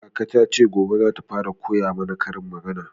Kaka ta ce gobe zata fara koya mana karin magana